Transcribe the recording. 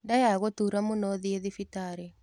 Nda yagũtura mũno thiĩthibitarĩ.